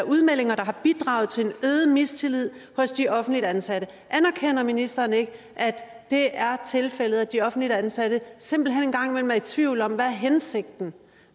udmeldinger der har bidraget til en øget mistillid hos de offentligt ansatte anerkender ministeren ikke at det er tilfældet at de offentligt ansatte simpelt hen en gang imellem er i tvivl om hvad hensigten